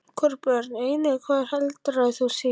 Hvorugt Börn: Engin Hvað eldaðir þú síðast?